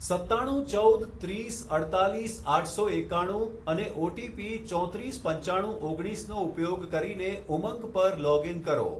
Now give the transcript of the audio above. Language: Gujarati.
સત્તાણું ચૌદ ત્રીસ અડતાલીસ આઠસો એકાણું અને ઓટીપી ચોત્રીસ પંચાણું ઓગણીસનો ઉપયોગ કરીને ઉમંગ પર લોગ ઇન કરો